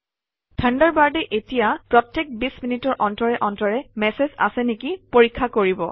থাণ্ডাৰবাৰ্ডে এতিয়া প্ৰত্যেক ২0 মিনিটৰ অন্তৰে অন্তৰে মেচেজ আছে নেকি পৰীক্ষা কৰিব